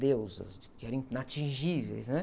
Deusas, que eram inatingíveis, né?